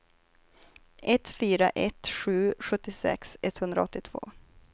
ett fyra ett sju sjuttiosex etthundraåttiotvå